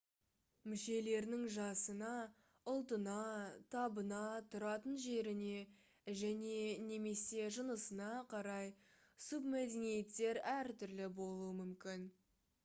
мүшелерінің жасына ұлтына табына тұратын жеріне және/немесе жынысына қарай субмәдениеттер әртүрлі болуы мүмкін